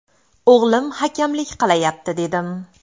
O‘g‘lim hakamlik qilayapti dedim.